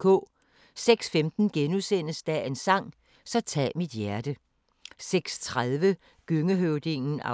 06:15: Dagens sang: Så tag mit hjerte * 06:30: Gøngehøvdingen (2:13)